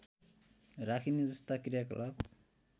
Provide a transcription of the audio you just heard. राखिने जस्ता कृयाकलाप